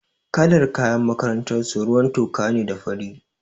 Kalar kayan makarantar su ruwan toka ne da fari.